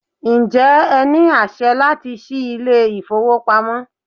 Ǹjẹ́ ẹ ní àṣẹ láti ṣí ilé ìfowópamọ́?